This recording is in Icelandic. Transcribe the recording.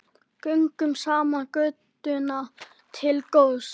Göngum saman götuna til góðs.